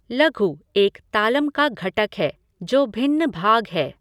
लघू एक तालम का घटक है जो भिन्न भाग है।